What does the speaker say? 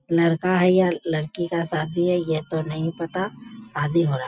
लड़‍का है या लड़‍की का शादी है य‍ह तो नहीं पता शादी हो रहा है।